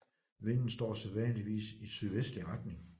Vinden står sædvanligvis i sydvestlig retning